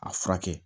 A furakɛ